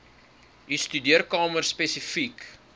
u studeerkamer spesifiek